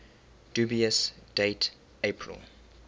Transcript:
dubious date april